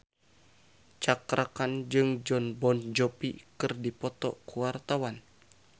Cakra Khan jeung Jon Bon Jovi keur dipoto ku wartawan